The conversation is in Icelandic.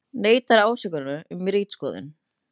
Ólga í sauðfjárbændum